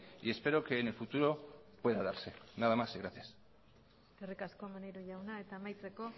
y espero que en el futuro pueda darse nada más y gracias eskerrik asko maneiro jauna eta amaitzeko